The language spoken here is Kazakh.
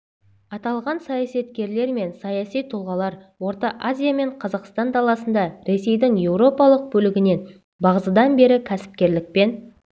аталған саясаткерлер мен саяси тұлғалар орта азия мен қазақстан даласында ресейдің еуропалық бөлігінен бағзыдан бері кәсіпкерлікпен